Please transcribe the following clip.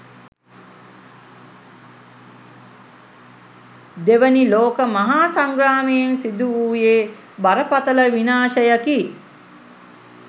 දෙවැනි ලෝක මහා සංග්‍රාමයෙන් සිදුවූයේ බරපතළ විනාශයකි.